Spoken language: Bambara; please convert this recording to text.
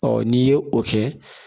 n'i ye o kɛ